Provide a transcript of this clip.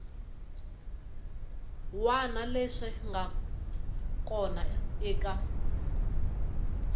wana leswi nga kona eka